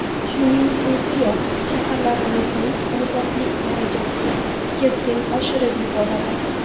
Shuning o‘ziyoq shaharlarimizning ozodalik darajasini keskin oshirib yuboradi.